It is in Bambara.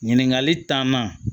Ɲininkali taama